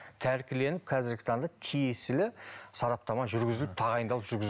тәркіленіп қазіргі таңда тиесілі сараптама жүргізіліп тағайындалып